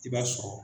I b'a sɔrɔ